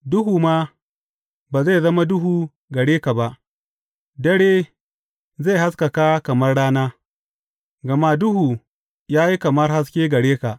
duhu ma ba zai zama duhu gare ka ba; dare zai haskaka kamar rana, gama duhu ya yi kamar haske gare ka.